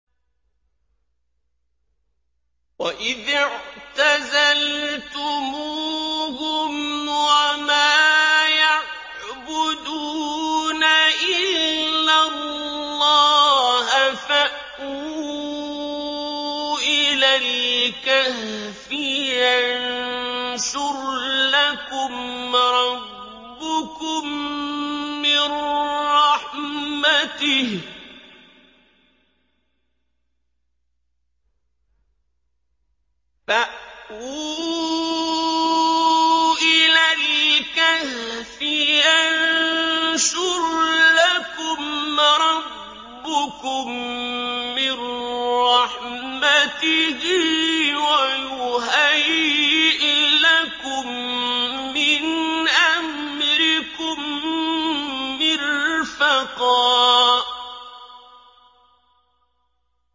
وَإِذِ اعْتَزَلْتُمُوهُمْ وَمَا يَعْبُدُونَ إِلَّا اللَّهَ فَأْوُوا إِلَى الْكَهْفِ يَنشُرْ لَكُمْ رَبُّكُم مِّن رَّحْمَتِهِ وَيُهَيِّئْ لَكُم مِّنْ أَمْرِكُم مِّرْفَقًا